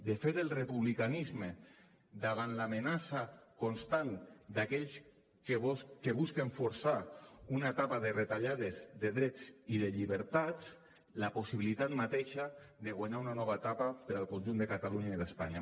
de fet el republicanisme davant l’amenaça constant d’aquells que busquen forçar una etapa de retallades de drets i de llibertats la possibilitat mateixa de guanyar una nova etapa per al conjunt de catalunya i d’espanya